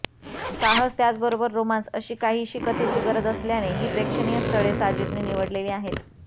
साहस त्याचबरोबर रोमांस अशी काहीशी कथेची गरज असल्याने ही प्रेक्षणीय स्थळे साजिदने निवडलेली आहेत